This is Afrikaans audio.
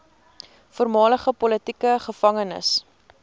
voormalige politieke gevangenes